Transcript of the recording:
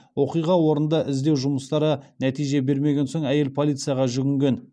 оқиға орнында іздеу жұмыстары нәтиже бермеген соң әйел полицияға жүгінген